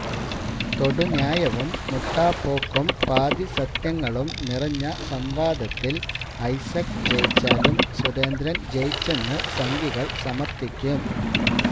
തൊടുന്യായവും മുട്ടാപ്പോക്കും പാതിസത്യങ്ങളും നിറഞ്ഞ സംവാദത്തില് ഐസക് ജയിച്ചാലും സുരേന്ദ്രന് ജയിച്ചെന്ന് സംഘികള് സമര്ത്ഥിക്കും